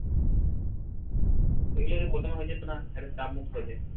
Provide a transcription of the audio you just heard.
এগুলা যদি প্রথমে হয়ে যেতো না একটা চাপমুক্ত হয়ে যায়